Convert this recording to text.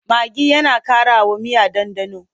Magi yana ƙarawa miya ɗanɗano.